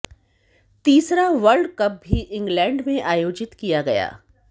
तीसरा world cup भी इंग्लैंड में आयोजित किया गया